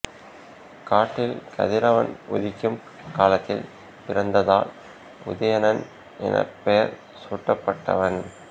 காட்டில் கதிரவன் உதிக்கும் காலத்தில் பிறந்ததால் உதயணன் எனப் பெயர் சூட்டப்பட்டவன்